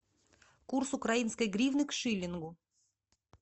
курс украинской гривны к шиллингу